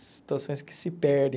Essas situações que se perdem.